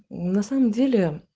на самом деле